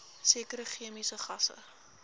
sekere chemiese gasse